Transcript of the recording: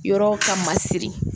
Yɔrɔw ka masiri